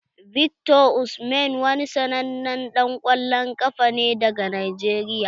Victor Osimhen wani sannanen dan kwallon ƙafa ne daga Najeriya.